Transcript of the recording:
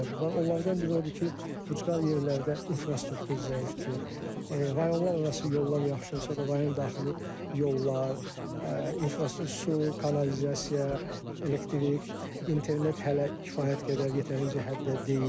Onlardan biri odur ki, ucqar yerlərdə infrastruktur zəifdir, rayonlar arası yollar yaxşı olsa da, rayon daxili yollar, su, kanalizasiya, elektrik, internet hələ kifayət qədər yetərincə həddə deyil.